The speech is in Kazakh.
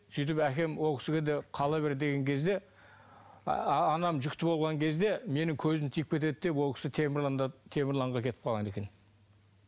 сөйтіп әкем ол кісіге де қала бер деген кезде ааа анам жүкті болған кезде менің көзім тиіп кетеді деп ол кісі темірланға кетіп қалған екен